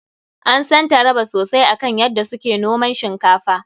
An san Taraba sosai akan yadda su ke noman shinkafa.